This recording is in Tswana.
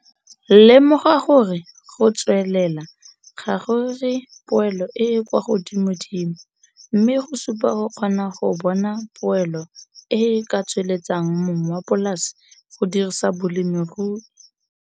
Lemoga gore go tswelela ga go re poelo e e kwa godimodimo mme go supa go kgona go bona poelo e e ka tsweletsang mong wa polase go dirisa bolemirui.